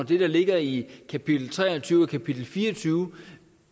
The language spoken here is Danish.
det der ligger i kapitel tre og tyve og kapitel fire og tyve